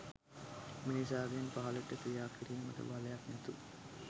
මිනිසාගෙන් පහලට ක්‍රියා කිරීමට බලයක් නැතු